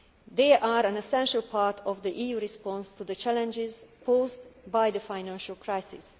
They are an essential part of the EU's response to the challenges posed by the financial crisis.